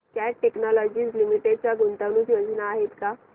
cat Technologies Limited च्या गुंतवणूक योजना आहेत का